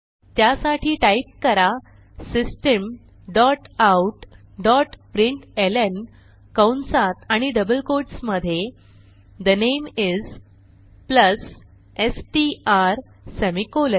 त्यासाठी टाईप करा system dot out dot println कंसात आणि डबल quotesमधे the name is plus STR semicolon